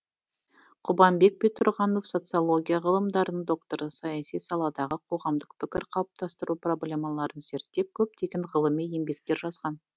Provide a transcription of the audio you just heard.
құбанбек бектұрғанов социология ғылымдарының докторы саяси саладағы қоғамдық пікір қалыптастыру проблемаларын зерттеп көптеген ғылыми еңбектер жазған